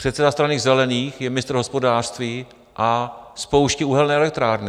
Předseda Strany zelených je ministr hospodářství a spouští uhelné elektrárny.